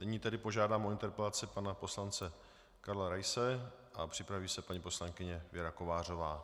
Nyní tedy požádám o interpelaci pana poslance Karla Raise a připraví se paní poslankyně Věra Kovářová.